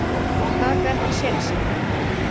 Taka ekki sénsinn.